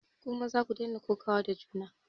Ku maza ku daina kokawa da juna!